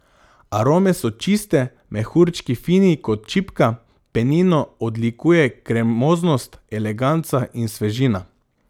Arome so čiste, mehurčki fini kot čipka, penino odlikuje kremoznost, eleganca in svežina.